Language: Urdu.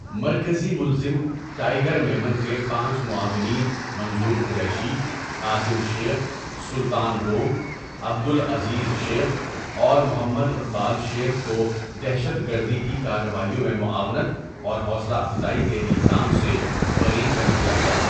مرکزی ملزم ٹائیگر میمن کے پانچ معاونین منظور قریشی، قاسم شیخ، سلطان روم، عبدالعزیز شیخ اور محمد اقبال شیخ کو دہشت گردی کی کارروائیوں میں معاونت اور حوصلہ افزائی کے الزام سے بری کر دیا گیا۔